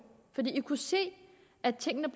fordi dansk folkeparti kunne se at tingene